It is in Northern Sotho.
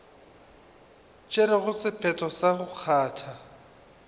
tšerego sephetho sa go kgatha